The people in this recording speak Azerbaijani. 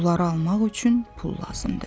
Bunları almaq üçün pul lazımdır.